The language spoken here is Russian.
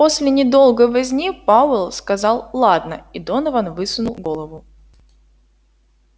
после недолгой возни пауэлл сказал ладно и донован высунул голову